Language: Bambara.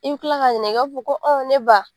I bi kila ka ɲininka , i b'a fɔ ko ɔ ne ba